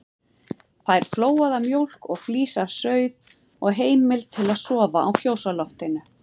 Fær flóaða mjólk og flís af sauð og heimild til að sofa á fjósloftinu.